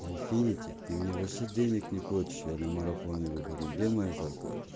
инфинити ты мне вообще денег не платишь я на марафоны выхожу где моя зарплата